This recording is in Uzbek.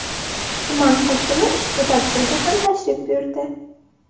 Tuman hokimi ushbu tadbirga ham tashrif buyurdi.